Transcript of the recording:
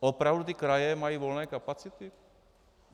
Opravdu ty kraje mají volné kapacity?